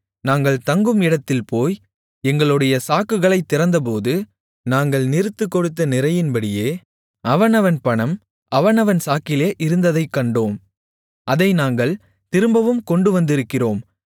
நாங்கள் தங்கும் இடத்தில் போய் எங்களுடைய சாக்குகளைத் திறந்தபோது நாங்கள் நிறுத்துக்கொடுத்த நிறையின்படியே அவனவன் பணம் அவனவன் சாக்கிலே இருந்ததைக் கண்டோம் அதை நாங்கள் திரும்பவும் கொண்டுவந்திருக்கிறோம்